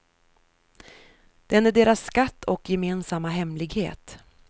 Den är deras skatt och gemensamma hemlighet.